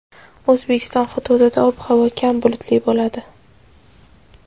O‘zbekiston hududida ob-havo kam bulutli bo‘ladi.